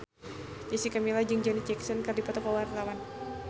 Jessica Milla jeung Janet Jackson keur dipoto ku wartawan